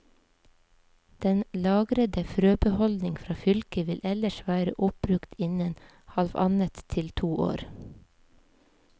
Den lagrede frøbeholdning fra fylket vil ellers være oppbrukt innen halvannet til to år.